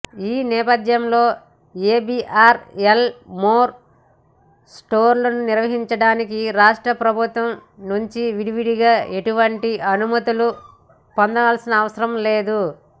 ఈ నేపథ్యంలో ABRL More స్టోర్లను నిర్వహించడానికి రాష్ట్ర ప్రభుత్వాల నుంచి విడివిడిగా ఎటువంటి అనుమతులు పొందనవసరం లేదు